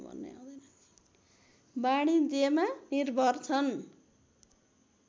वाणिज्यमा निर्भर छन्